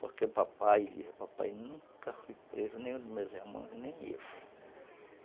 Porque papai , papai nunca foi preso, nenhum dos meus irmãos, nem eu.